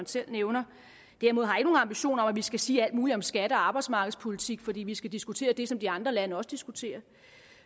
selv nævner derimod har jeg ikke nogen ambition om at vi skal sige alt muligt om skatte og arbejdsmarkedspolitik fordi vi skal diskutere det som de andre lande også diskuterer